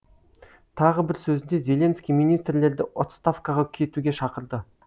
тағы бір сөзінде зеленский министрлерді отставкаға кетуге шақырды